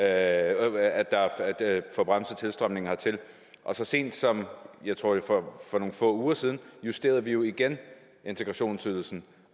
at få bremset tilstrømningen hertil og så sent som for nogle få uger siden justerede vi jo igen integrationsydelsen